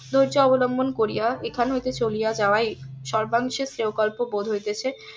ধোর্য অবলম্বন করিয়া এখান হইতে চলিয়া যাওয়ায় সর্বাংশে শ্রেয় কল্প বোধ হইতেছে